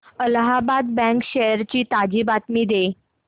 Allahabad bank shares ची ताजी माहिती दे